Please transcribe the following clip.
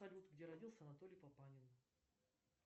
салют где родился анатолий папанин